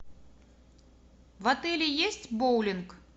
в отеле есть боулинг